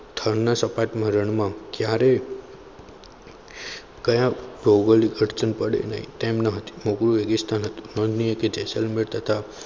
થરના સપાટના રણમાં ક્યારેક કયા ભૌગોલિક અડચણ પડે તેમ ન હતી ભૌગોલિક રેગીસ્તાન હતું. જેસલમેર તથા